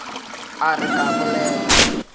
a re ke a bolela